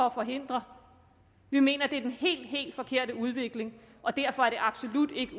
at forhindre vi mener det er den helt helt forkerte udvikling og derfor er det absolut ikke